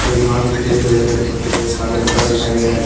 हरे घास दिख रहें हैं जो हरे कलर के पत्ते हैं काला जूता दिखाई दे रहा है।